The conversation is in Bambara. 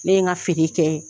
Ne n ka fini kɛ